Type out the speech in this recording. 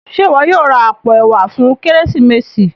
Ṣe iwọ yóò rà apó ẹwà fún Kérésìmesì?